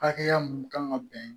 Hakɛya mun kan ka bɛn